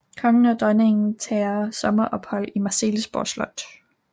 Kongen og dronningen tager sommerophold på Marselisborg Slot